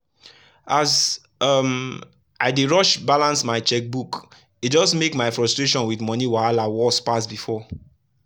as um i dey rush balance my checkbook e just make my frustration with money wahala worse pass before.